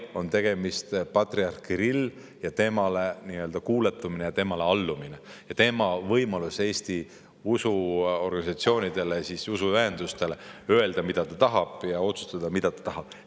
Tegemist on patriarh Kirilliga ja temale kuuletumisega, temale allumisega, tema võimalusega Eesti usuorganisatsioonidele, usuühendustele öelda, mida ta tahab, ja otsustada, mida ta tahab.